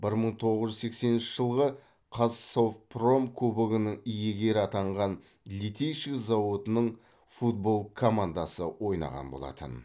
бір мың тоғыз жүз сексенінші жылғы қазсовпром кубогының иегері атанған литейщик зауытының футбол командасы ойнаған болатын